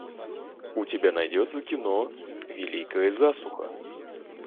у тебя найдется кино великая засуха